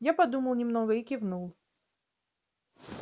я подумал немного и кивнул